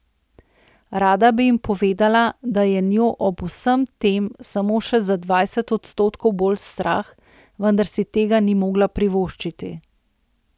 Rada bi jim povedala, da je njo ob vsem tem samo še za dvajset odstotkov bolj strah, vendar si tega ni mogla privoščiti.